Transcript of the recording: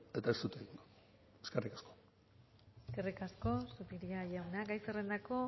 eta ez dut egingo eskerrik asko eskerrik asko zupiria jauna gai zerrendako